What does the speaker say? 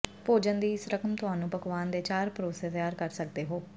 ਭੋਜਨ ਦੀ ਇਸ ਰਕਮ ਤੁਹਾਨੂੰ ਪਕਵਾਨ ਦੇ ਚਾਰ ਪਰੋਸੇ ਤਿਆਰ ਕਰ ਸਕਦੇ ਹੋ